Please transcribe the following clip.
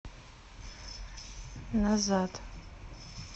назад